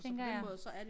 Tænker jeg